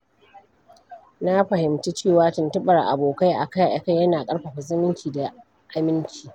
Na fahimci cewa tuntuɓar abokai akai-akai yana ƙarfafa zumunci da aminci.